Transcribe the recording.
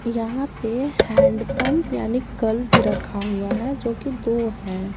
यहां पे hand pump यानी कल भी रखा हुआ है जो कि दो है।